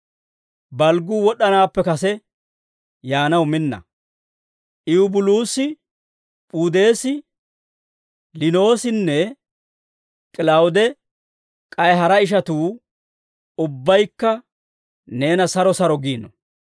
Balgguu wod'd'anaappe kase yaanaw minna. Ewubuluusi, P'udeesi, Liinoosinne K'ilawude k'ay hara ishatuu ubbaykka neena saro saro giino.